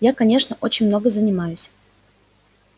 я конечно очень много занимаюсь